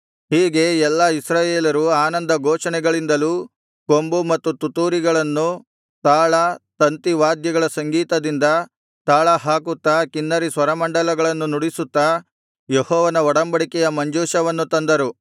ಹೀಗೆ ಎಲ್ಲಾ ಇಸ್ರಾಯೇಲರು ಆನಂದ ಘೋಷಣೆಗಳಿಂದಲೂ ಕೊಂಬು ಮತ್ತು ತುತ್ತೂರಿಗಳನ್ನು ತಾಳ ತಂತಿ ವಾದ್ಯಗಳ ಸಂಗೀತದಿಂದ ತಾಳಹಾಕುತ್ತಾ ಕಿನ್ನರಿ ಸ್ವರಮಂಡಲಗಳನ್ನು ನುಡಿಸುತ್ತಾ ಯೆಹೋವನ ಒಡಂಬಡಿಕೆಯ ಮಂಜೂಷವನ್ನು ತಂದರು